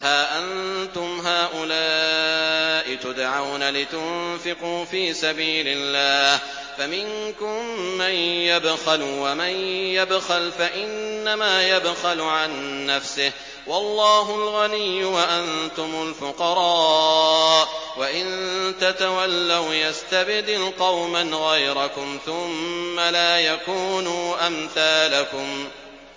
هَا أَنتُمْ هَٰؤُلَاءِ تُدْعَوْنَ لِتُنفِقُوا فِي سَبِيلِ اللَّهِ فَمِنكُم مَّن يَبْخَلُ ۖ وَمَن يَبْخَلْ فَإِنَّمَا يَبْخَلُ عَن نَّفْسِهِ ۚ وَاللَّهُ الْغَنِيُّ وَأَنتُمُ الْفُقَرَاءُ ۚ وَإِن تَتَوَلَّوْا يَسْتَبْدِلْ قَوْمًا غَيْرَكُمْ ثُمَّ لَا يَكُونُوا أَمْثَالَكُم